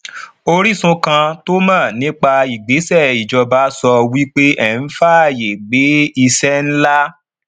orísun kan tó mọ nípa ìgbésẹ ìjọba sọ wípé èn faaye gbe iṣẹ nlá